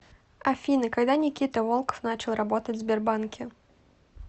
афина когда никита волков начал работать в сбербанке